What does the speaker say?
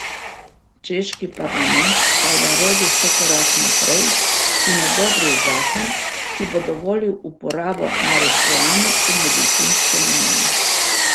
Češki parlament pa je naredil še korak naprej in odobril zakon, ki bo dovolil uporabo marihuane v medicinske namene.